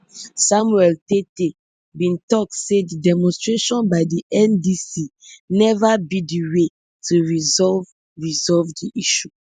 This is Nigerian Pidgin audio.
samuel tettey bin tok say di demonstration by di ndc neva be di way to resolve resolve di issue